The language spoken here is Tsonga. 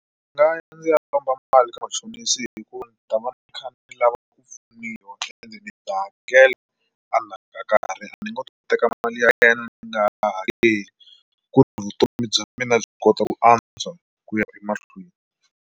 Ndzi nga ya ndzi ya lomba mali ka machonisi hikuva ndzi ta va ni kha ni lava ku pfuniwa ende ni ta hakela ka ni ngo teka mali ya yena ni nga ha hakeli ku vutomi bya mina byi kota ku antswa ku ya emahlweni.